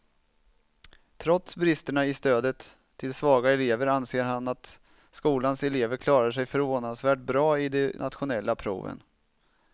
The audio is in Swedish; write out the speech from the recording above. Trots bristerna i stödet till svaga elever anser han att skolans elever klarar sig förvånansvärt bra i de nationella proven.